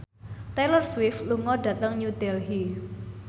Taylor Swift lunga dhateng New Delhi